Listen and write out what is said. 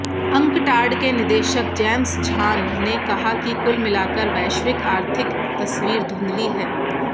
UNCTAD के निदेशक James Zhan ने कहा कि कुल मिलाकर वैश्विक आर्थिक तस्वीर धुंधली है